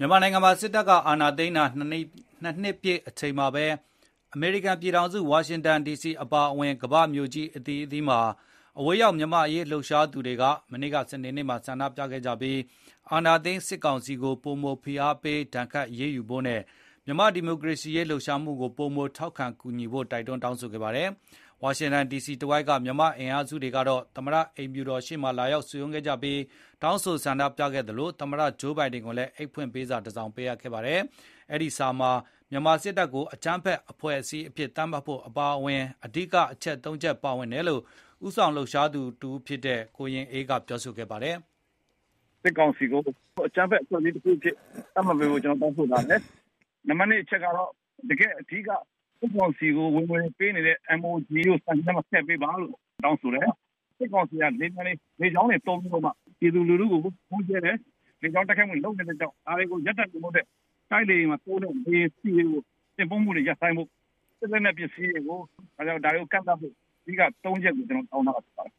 မြန်မာနိုင်ငံမှာ စစ်တပ်အာဏာသိမ်း ၂ ပြည့်အချိန်မှာဘဲ၊ အမေရိကန်ပြည်ထောင်စုဝါရှင်တန်ဒီစီအပါအဝင်ကမ္ဘာ့မြို့ကြီး အသီးသီးမှာ အဝေးရောက်မြန်မာ့အရေးလှုပ်ရှားသူတွေက မနေ့က စနေနေ့မှာဆန္ဒပြခဲ့ကြပြီး အာဏာသိမ်းစစ်ကောင်စီ ကိုပိုမိုဖိအားပေး ဒါဏ်ခတ်အရေးယူဖို့နဲ့ မြန်မာ့ဒီမိုကရေစီလှုပ်ရှားမှုကို ပိုမိုထောက်ခံကူညီကြဖို့ တိုက်တွန်းတောင်းဆိုခဲ့ ပါတယ်။ ဝါရှင်တန်ဒီစီတဝိုက်က မြန်မာ့အင်အားစုတွေကတော့ သမတအိမ်ဖြူတော်ရှေ့မှာလာရောက်စုရုံးခဲ့ကြပြီး၊ တောင်းဆိုဆန္ဒ ပြခဲ့သလို သမတဂျိုးဘိုင်ဒင်ကိုလည်းအိပ်ဖွင့်ပေးစာတစောင်ပေးခဲ့ပါတယ်။ ဒီစာမှာ မြန်မာစစ်တပ်ကိုအကြမ်းဖက်အဖွဲ့ အစည်းအဖြစ်သတ်မှတ်ဖို့အပါအဝင် အဓိကအချက် ၃ ချက်ပါဝင်တယ်လို့ ဦးဆောင်သူတဦးဖြစ်တဲ့ ကိုရင်အေးက ပြောဆို ခဲ့ပါတယ်။ “ စစ်တပ်ကို အကြမ်းဖက်အဖွဲ့အစည်းတခုအဖြစ် သတ်မှတ်ပေးဖို့ကျနော်တို့တောင်းဆိုထားပါတယ် နံပတ် ၂ အချက်က တော့ အဓိကစစ်ကောင်စီကိုဝင်ငွေပေးနေတဲ့ MOGE ကိုဒါဏ်ခတ်အရေးယူတဲ့အထဲမှာထည့်ပေးဖို့တောင်းဆိုတယ်၊ စစ်ကောင်စီကပြည်သူလူထုကို လေကြောင်းတိုက်ခိုက်မှုတွေလုပ်နေတဲ့အတွက်ကြောင့် ဒါတွေကိုရပ်တန့်စေဖို့အတွက် တိုက်လေယဉ်တွေမှာအသုံးပြုတဲ့လေယဉ်ဆီတွေတင်ပို့မှုတွေကိုရပ်ဆိုင်းဖို့ စစ်လက်နှက်ပစ္စည်းတွေကိုကန့်သတ် ပိတ်ပင်ဖို့ အဓိက ၃ ချက်ကိုကျနော်တို့တောင်းထားတာဖြစ်ပါတယ်။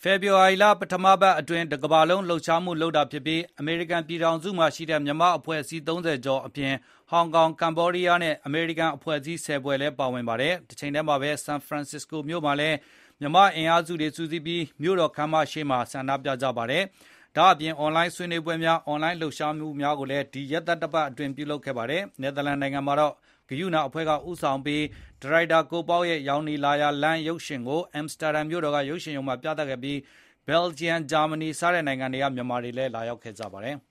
” ဖေဖေါ်ဝါရီ ပထမပတ်အတွင်း တကမ္ဘာလုံးလှုပ်ရှားမှုလုပ်တာဖြစ်ပြီး အမေရိကန်ပြည်ထောင်စုမှာရှိတဲ့ မြန်မာ့အဖွဲ့ အစည်း ၃၀ ကျော်အပြင်၊ ဟောင်ကောင်၊ ကမ္ဘောဒီးယားနဲ့အမေရိကန်အဖွဲ့အစည်း ၁၀ ဖွဲ့လည်းပါဝင်ပါတယ်။ တချိန်ထဲမှာဘဲ ဆန်ဖရန်စ္စကိုမြိုမှာလည်း မြန်မာ့အင်အားစုတွေစုစည်းပြီး မြို့တော်ခမ်းမရှေ့မှာဆန္ဒပြခဲ့ကြပါတယ်။ ဒါ့အပြင် အွန်လိုင်းဆွေနွေးပွဲများ၊အွန်လိုင်းလှုပ်ရှားမှုများကိုဒီရက်သတ္တပတ်အတွင်းပြုလုပ်ခဲ့ကြပါတယ်။ နယ်သာလန်နိုင်ငံမှာတော့ ကရုဏာအဖွဲ့ကဦးဆောင်ပြီး ဒါရိုက်တာကိုပေါက်ရဲ့ ရောင်နီလာရာလမ်းရုပ်ရှင်ကို အမ်စတာဒန်မြို့တော်ကရုပ်ရှင်ရုံမှာပြသခဲ့ပြီး၊ ဘယ်ဂျီယံ၊ ဂျာမဏီစတဲ့နိုင်ငံတွေကမြန်မာတွေလည်းလာရောက်ခဲ့ပါတယ်။